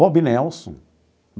Bob Nelson.